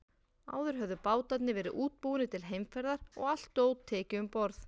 Áður höfðu bátarnir verið útbúnir til heimferðar og allt dót tekið um borð.